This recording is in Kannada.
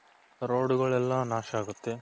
roadಳೆಲ್ಲ ನಾಶ ಆಗುತ್ತೆ.